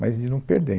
Mas de não perder.